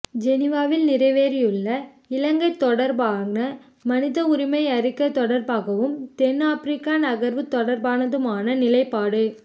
ஜெனீவாவில் நிறைவேறியுள்ள இலங்கை தொடர்பான மனித உரிமை அறிக்கை தொடர்பாகவும் தென்னாபிரிக்க நகர்வு தொடர்பானதுமான நிலைப்பாடு